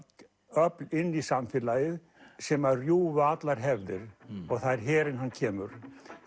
öfl inn í samfélagið sem rjúfa allar hefðir það er herinn hann kemur